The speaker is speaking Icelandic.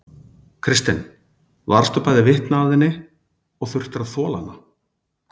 Kristinn: Varðstu bæði vitni að henni og þurftir að þola hana?